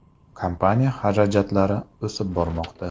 Kompaniya xarajatlari o‘sib bormoqda.